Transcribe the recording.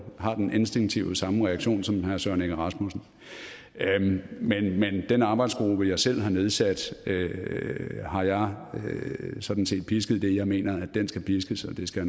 har den instinktive samme reaktion som herre søren egge rasmussen men den arbejdsgruppe jeg selv har nedsat har jeg sådan set pisket det jeg mener den skal piskes og det skal